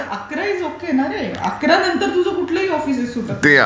पण अकरा is okay ना रे. अकरा नंतर तू जर कुठलीही ऑफिसेस सुटत नाहीत.